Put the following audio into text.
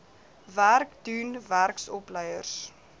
werk doen werksopleiers